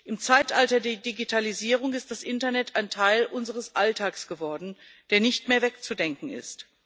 Im Zeitalter der Digitalisierung ist das Internet ein Teil unseres Alltags geworden, der nicht mehr wegzudenken ist.